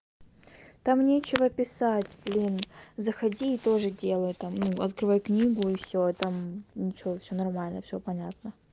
там нечего писать блин заходи и тоже делай там ну открывай книгу и всё и там ничего всё нормально всё понятно